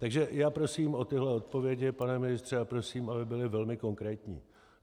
Takže já prosím o tyhle odpovědi, pane ministře, a prosím, aby byly velmi konkrétní.